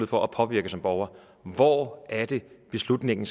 for at påvirke som borger hvor er det beslutningen